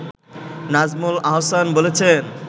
নাজমুল আহসান বলেছেন